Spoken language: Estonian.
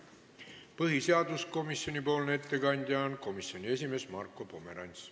Põhiseaduskomisjoni ettekandja on komisjoni esimees Marko Pomerants.